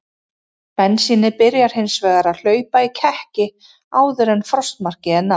Bensínið byrjar hins vegar að hlaupa í kekki áður en frostmarki er náð.